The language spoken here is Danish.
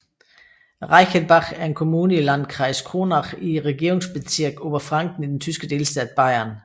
Reichenbach er en kommune i Landkreis Kronach i Regierungsbezirk Oberfranken i den tyske delstat Bayern